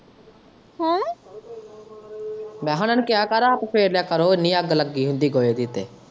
ਮੈਂ ਕਿਹਾ ਉਹਨਾਂ ਨੂੰ ਕਿਹਾ ਕਰ ਆਪ ਫੇਰ ਲਿਆ ਕਰੋ ਇੰਨੀ ਅੱਗ ਲੱਗੀ ਹੁੰਦੀ ਗੋਹੇ ਦੀ ਤੇ।